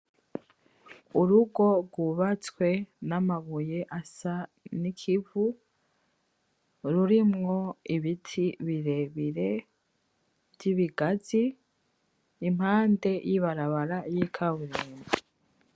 Urugo rw'ubatswe n’amabuye asa n’ikivu, rurimwo ibiti birebire vy’ibigazi impande y’ibarabara ry’ikaburinbi.